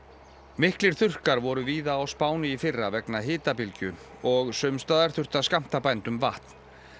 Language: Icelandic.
miklir þurrkar voru víða á Spáni í fyrra vegna hitabylgju og sums staðar þurfti að skammta bændum vatn